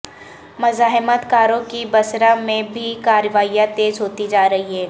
مزاحمت کاروں کی بصرہ میں بھی کارروائیاں تیز ہوتی جا رہی ہیں